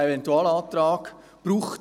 Dort gehen wir genau diesen Fragen nach: